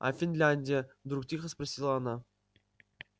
а финляндия вдруг тихо спросила она